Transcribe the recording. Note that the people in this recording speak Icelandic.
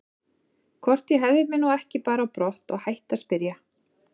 Hvort ég hefði mig nú ekki bara á brott og hætti að spyrja.